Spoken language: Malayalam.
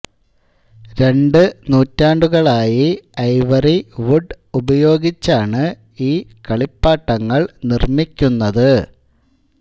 രണ്ടു നൂറ്റാണ്ടുകളായി ഐവറി വുഡ് ഉപയോഗിച്ചാണ് ഈ കളിപ്പാട്ടങ്ങൾ നിർമ്മിക്കുന്നത്